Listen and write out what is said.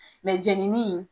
Mɛ jennini